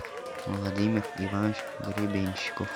владимир иванович гребенщиков